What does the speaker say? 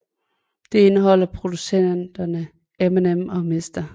Det indeholder producerne Eminem og Mr